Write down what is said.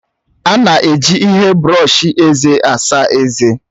A na-eji ihe brọọshi eze asa ezé.